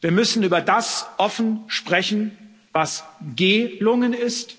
Wir müssen über das offen sprechen, was gelungen ist,